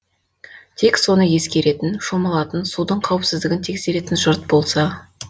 тек соны ескеретін шомылатын судың қауіпсіздігін тексеретін жұрт болса